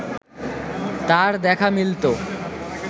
তার দেখা মিলত